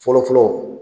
Fɔlɔ fɔlɔ